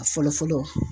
A fɔlɔ fɔlɔ